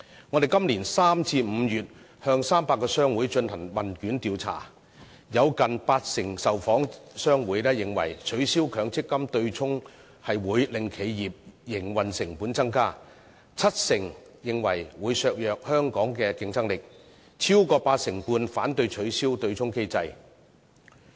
我們在今年3月至5月向300個商會進行問卷調查，當中近八成受訪商會認為，取消強積金對沖機制會令企業營運成本增加；七成受訪商會認為會削弱香港的競爭力；超過八成半受訪商會反對取消對沖機制。